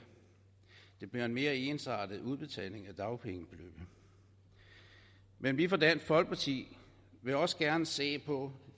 der bliver en mere ensartet udbetaling af dagpengebeløbene men vi fra dansk folkeparti vil også gerne se på